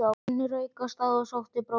Svenni rauk af stað og sótti brókina.